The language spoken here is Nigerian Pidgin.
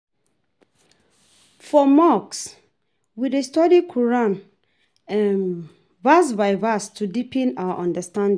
For mosque, we dey study Quran verse by verse to deepen our understanding.